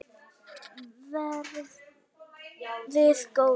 Verið góðir!